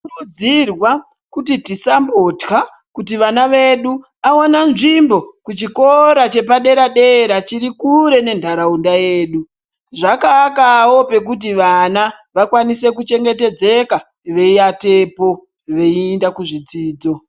Tinokurudzirwa kuti tisambotya kuti vana vedu awana nzvimbo kuchikora chepadera-dera chirikure nentaraunda yedu, zvakaakawo pekuti vana vakwanise kuchengetedzeka, veiatepo veienda kuzvidzidzo.